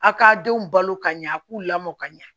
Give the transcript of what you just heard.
A ka denw balo ka ɲɛ a k'u lamɔ ka ɲɛ